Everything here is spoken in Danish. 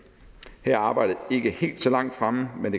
her er arbejdet ikke helt så langt fremme men